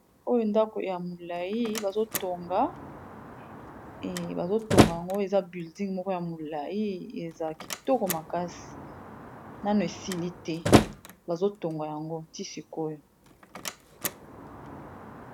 Oyo ndako ya molayi bazo tonga, eéh bazo tonga yango eza building moko ya molayi eza kitoko makasi, nano esili te bazo tonga yango ti sikoyo.